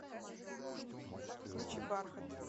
включи бархат